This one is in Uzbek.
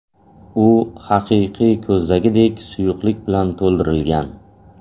U haqiqiy ko‘zdagidek suyuqlik bilan to‘ldirilgan.